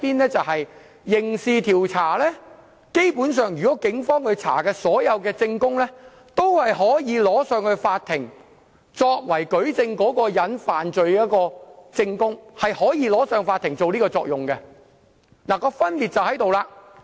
當進行刑事調查時，警方調查所得的所有證供基本上都可呈交法庭作為舉證被告犯罪的證據，是可以在法庭發揮這種作用的，分別就在這裏。